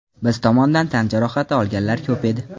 Biz tomondan tan jarohati olganlar ko‘p edi.